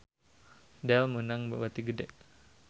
Dell meunang bati gede